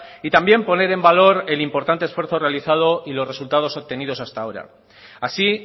y también poner en valor el importante esfuerzo realizado y los resultados obtenidos hasta ahora así